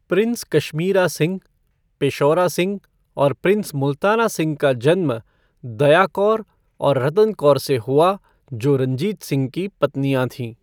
Prince Kashmira Singh, Peshaura Singh और prince Multana Singh का जन्म दया कौर और रतन कौर से हुआ, जो रंजीत सिंह की पत्नियां थीं।